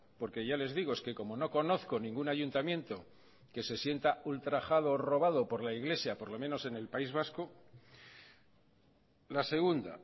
porque ya les digo es que como no conozco ningún ayuntamiento que se sienta ultrajado o robado por la iglesia por lo menos en el país vasco la segunda